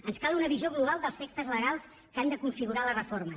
ens cal una visió global dels textos legals que han de configurar les reformes